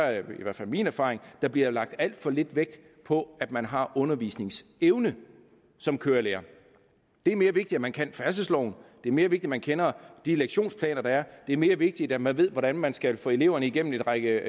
er i hvert fald min erfaring bliver lagt alt for lidt vægt på at man har undervisningsevne som kørelærer det er mere vigtigt at man kan færdselsloven det er mere vigtigt at man kender de lektionsplaner der er det er mere vigtigt at man ved hvordan man skal få eleverne igennem en række